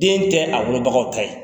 Den tɛ a wolobagaw ka ye.